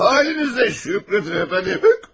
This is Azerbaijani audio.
Halınıza şükr edin, efendim.